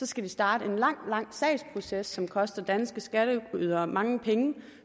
skal vi starte en lang lang sagsproces som koster danske skatteydere mange penge